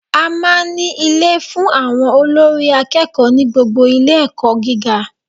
A máa n ní Ilé fun àwon olórí akéèkó ní gbogbo Ilé èkó gíga